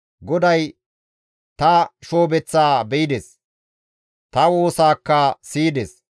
GODAY ta shoobeththaa be7ides; ta woosaakka siyides.